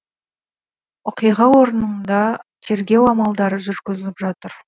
оқиға орнында тергеу амалдары жүргізіліп жатыр